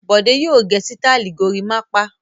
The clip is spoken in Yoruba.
Bọ̀dé yóò gẹ sítáálì gorímápá.